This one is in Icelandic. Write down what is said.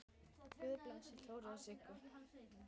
Guð blessi Þóru og Sigga.